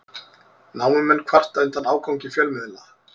Námumenn kvarta undan ágangi fjölmiðla